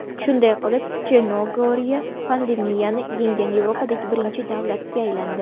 Shunday qilib, Chernogoriya pandemiyani yenggan Yevropadagi birinchi davlatga aylandi.